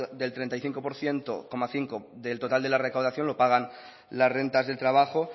del treinta y cinco coma cinco por ciento del total de la recaudación lo pagan las rentas del trabajo